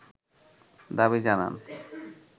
দাবি জানান